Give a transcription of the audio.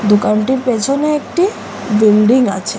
দোকানটির পেছনে একটি বিল্ডিং আছে।